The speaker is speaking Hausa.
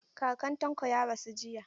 Kakan Tanko ya rasu jiya.